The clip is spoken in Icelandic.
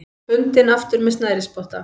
Bundinn aftur með snærisspotta.